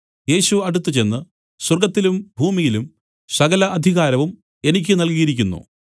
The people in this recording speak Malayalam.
യേശു അടുത്തുചെന്നു സ്വർഗ്ഗത്തിലും ഭൂമിയിലും സകല അധികാരവും എനിക്ക് നൽകിയിരിക്കുന്നു